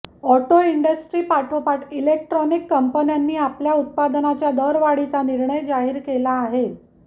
auto इंडस्ट्रीपाठोपाठ electronics कंपन्यांनी आपल्या उत्पादनांच्या दरवाढीचा निर्णय जाहीर केला आहे